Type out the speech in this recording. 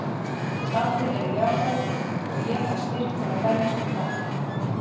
Allir eru jákvæðir og ég fæ styrk til að berjast við þetta.